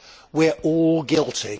We are all guilty.